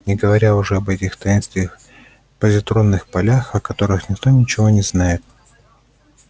не говоря уже об этих таинственных позитронных полях о которых никто ничего не знает